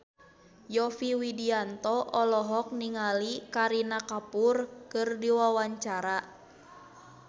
Yovie Widianto olohok ningali Kareena Kapoor keur diwawancara